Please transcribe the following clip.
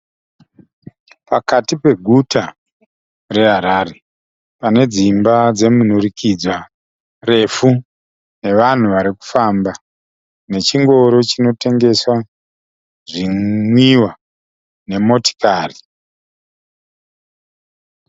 Pakati peguta re Harare, pane dzimba dzemunhurikidzwa refu nevanhu vari kufamba. Nechingoro chinotengesa zvinwiwa nemotikari.